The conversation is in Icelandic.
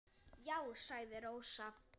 Já, sagði Rósa.